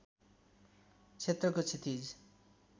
क्षेत्रको क्षितिज